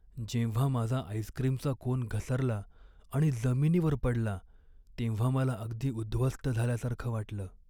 जेव्हा माझा आईस्क्रीमचा कोन घसरला आणि जमिनीवर पडला तेव्हा मला अगदी उद्ध्वस्त झाल्यासारखं वाटलं.